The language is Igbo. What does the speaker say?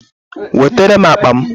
Wetere m akpa m